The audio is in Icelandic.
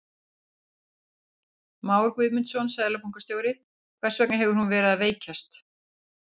Már Guðmundsson, seðlabankastjóri: Hvers vegna hefur hún verið að veikjast?